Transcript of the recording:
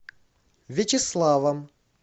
вячеславом